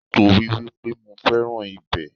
Nítorípé mo fẹ́ràn ibẹ̀